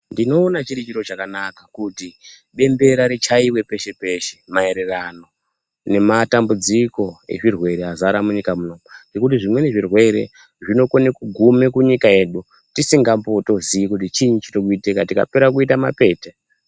Ndinoona chiri chakanaka kuti Dendera richaiwe peshe peshe maererano nematambudziko nezvirwere Zvakazara munyika muno zvekuti zvimweni zvirwere zvinokona inogona kuguma munyika yedu tisingatombzivi kuti chini chiri kuitika tikapera kuita mapete.